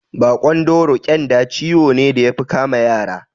Baƙon dauro (ƙyanda) ciwo ne da yafi kama yara